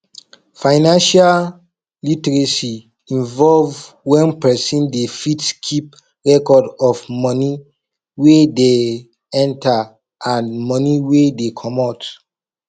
financial literacy involve when person dey fit keep record of money wey dey enter and money wey dey comot